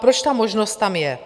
Proč ta možnost tam je?